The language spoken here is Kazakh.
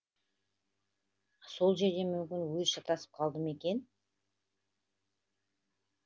сол жерден мүмкін өзі шатасып қалды ма екен